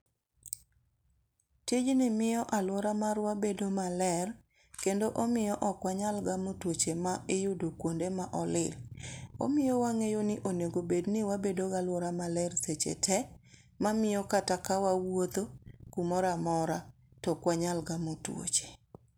tijni miyo aluora marwa bedo maler kendo omiyo okwanyal gamo tuoche ma iyudo kuonde ma olil. Omiyo wang'eyo ni onego bed ni wabedo ga aluora maler seche te, ma miyo kata ka wawuotho kumoramora to okwanyal gamo tuoche.